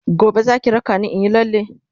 gobe Zaki raka ni inyi lalle?.